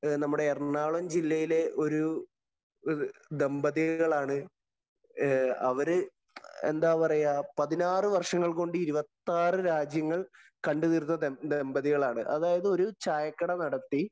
അതായത് ഒരു ചായക്കട നടത്തി നമ്മുടെ എറണാകുളം ജില്ലയിലെ ഒരു ദമ്പതികളാണ്. അവര് എന്താ പറയുക പതിനാറു വര്‍ഷങ്ങള്‍ കൊണ്ട് ഇരുപത്താറ് രാജ്യങ്ങള്‍ കണ്ടു തീര്‍ത്ത ദമ്പതികളാണ്.